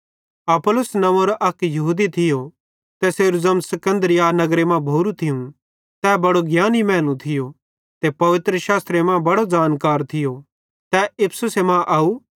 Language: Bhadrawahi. अपुल्लोस नंव्वेरे अक यहूदी थियो तैसेरू ज़र्म सिकन्दरिया नगरे मां भोरू थियूं तै बड़ो ज्ञानी मैनू थियो ते पवित्रशास्त्रेरे बारे मां बड़ो ज़ानकार थियो तै इफिसुस मां आव